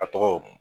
A tɔgɔ